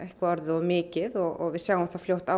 orðið of mikið og við sjáum það fljótt á